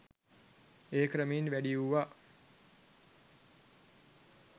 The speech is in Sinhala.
එය ක්‍රමයෙන් වැඩි වුවා